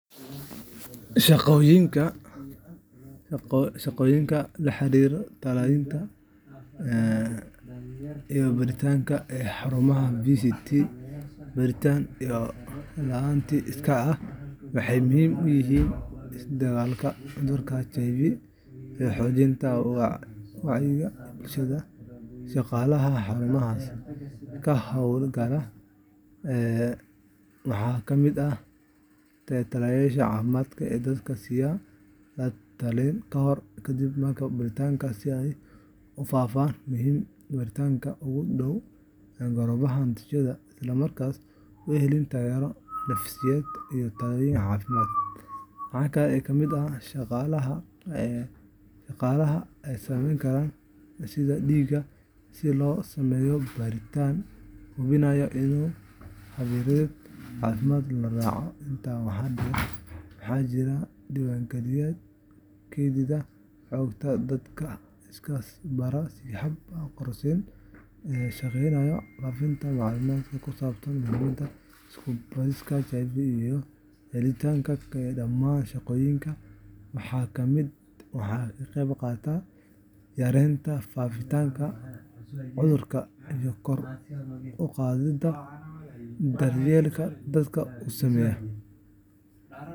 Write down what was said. Shaqooyinka la xiriira la-talinta iyo baaritaanka ee xarumaha VCTiga Baaritaan iyo La-talin Iskaa ah waxay muhiim u yihiin la-dagaallanka cudurka HIVga iyo xoojinta wacyiga bulshada. Shaqaalaha xarumahaas ka hawlgala waxaa ka mid ah la-taliyeyaasha caafimaadka oo dadka siiya la-talin ka hor iyo kadib baaritaanka, si ay u fahmaan muhiimadda baaritaanka, uga diyaar garoobaan natiijada, isla markaana u helaan taageero nafsiyeed iyo talooyin caafimaad. Waxaa kale oo ka mid ah shaqaalaha qaada muunadaha sida dhiigga si loogu sameeyo baaritaanka, hubiyana in habraacyada caafimaad loo raaco. Intaa waxaa dheer, waxaa jira diiwaangeliyayaal kaydiya xogta dadka iska baara si hab qarsoodi ah, iyo wacyigeliyayaal bulshada uga shaqeeya faafinta macluumaadka ku saabsan muhiimadda iska baarista HIVga iyo helidda taageerada. Dhamaan shaqooyinkaas waxay ka qeyb qaataan yareynta faafitaanka cudurka iyo kor u qaadidda daryeelka dadka uu saameeyo.